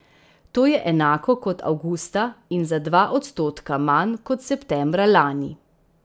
To je enako kot avgusta in za dva odstotka manj kot septembra lani.